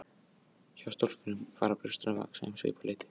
Hjá stúlkum fara brjóstin að vaxa um svipað leyti.